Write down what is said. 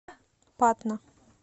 патна